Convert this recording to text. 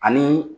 Ani